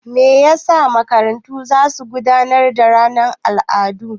Me yasa makarantu zasu na gudanar da ranar al'adu?